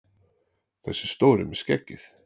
Þessi stóri með skeggið!